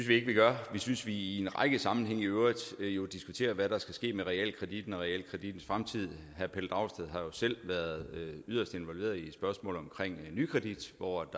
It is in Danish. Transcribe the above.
vi gør vi synes vi i en række sammenhænge i øvrigt diskuterer hvad der skal ske med realkreditten og realkredittens fremtid herre pelle dragsted har jo selv været yderst involveret i spørgsmålet om nykredit hvor